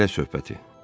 Ailə söhbəti.